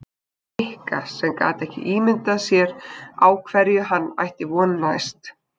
Nikka sem gat ekki ímyndað sér á hverju hann ætti næst von.